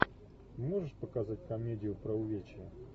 можешь показать комедию про увечья